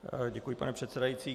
Děkuji, pane předsedající.